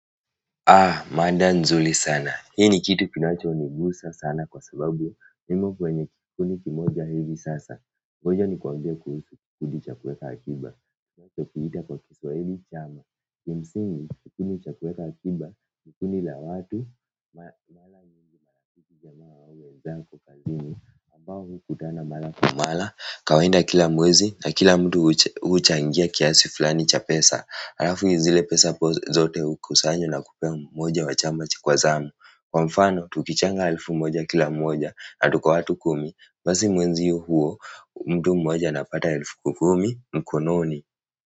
Mada nzuri sana hii ni kitu kinachonigusa sana kwa sababu mimi kwenye kikundi kimoja hivi sasa ngoja nikuambie kuhusu kikundi cha kuweka akiba tutakiita kwa Kiswahili chama. Kimsingi kikundi cha kuweka akiba ni kundi la watu wenzako kazini ambao hukutana mara kwa mara kawaida kila mwezi na kila mtu huchangia kiasi fulani cha pesa halafu zile pesa zote hukusanywa na kupea mmoja wa chama cha kwa zamu kwa mfano, tukichanga elfu moja kila mmoja na tuko watu kumi basi mwenziyo huo, mtu mmoja anapata elfu kumi mkononi.